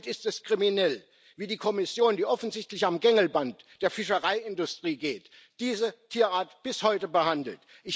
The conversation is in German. Somit ist es kriminell, wie die Kommission, die offensichtlich am Gängelband der Fischereiindustrie geht, diese Tierart bis heute behandelt.